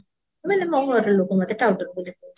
ମାନେ ମୋ ଘରର ଲୋକ ମୋତେ ଟାଉଟର ବୋଲି କହୁଛନ୍ତି